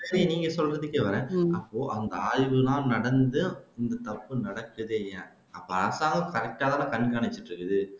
சரி நீங்க சொல்றதுக்கே வரேன் அப்போ அவங்க ஆய்வு எல்லாம் நடந்து இந்த தப்பு நடக்குது இல்லையா அப்போ அரசாவது கண்காணிச்சிட்டு